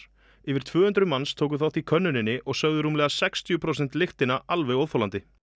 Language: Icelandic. yfir tvö hundruð manns tóku þátt í könnuninni og sögðu rúmlega sextíu prósent lyktina alveg óþolandi